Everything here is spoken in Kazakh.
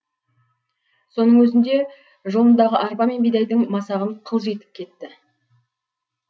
соның өзінде жолындағы арпа мен бидайдың масағын қылжитып кетті